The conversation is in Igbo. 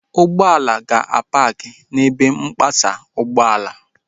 Ụgbọala ga-apaakị n'ebe mpasa ụgbọala